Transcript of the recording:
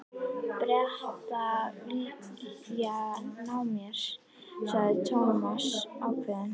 Bretar vilja ná mér sagði Thomas ákveðinn.